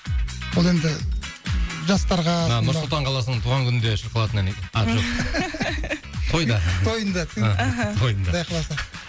ол енді жастарға а нұр сұлтан қаласының туған күнінде шығып қалатын ән тойда тойында аха тойында құдай қаласа